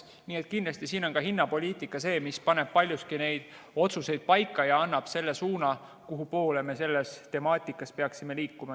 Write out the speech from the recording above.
Nii et kindlasti on hinnapoliitika see, mis paneb paljuski need otsused paika ja annab suuna, kuhu me selles temaatikas peaksime liikuma.